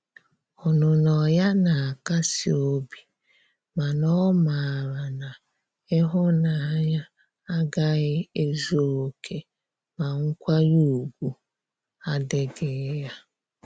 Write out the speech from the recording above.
Ọnụnọ ya na akasi obi ,mana o mara na ihunanya agahi ezu oke ma nkwanye ugwu adighi ya.